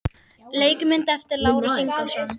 Leikmynd eftir Lárus Ingólfsson.